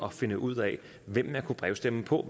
at finde ud af hvem man kunne brevstemme på